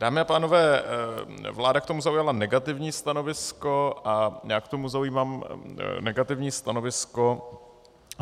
Dámy a pánové, vláda k tomu zaujala negativní stanovisko a já k tomu zaujímám negativní stanovisko.